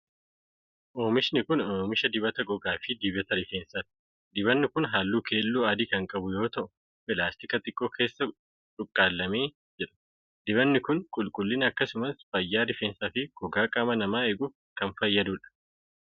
Oomishni kun, oomisha dibata gogaa fi dibata rifeensaati. Dibanni kun, haalluu keelloo adii kan qabu yoo ta'u, pilaastika xiqqoo keessa cuqqaallamee jira. Dibanni kun, qulqullina akkasumas fayyaa rifeensaa fi gogaa qaama namaa eeguuf kan fayyaduu dha.